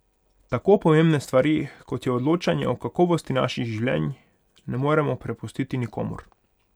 Tako pomembne stvari, kot je odločanje o kakovosti naših življenj, ne moremo prepustiti nikomur.